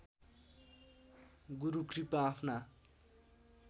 गुरु कृपा आफ्ना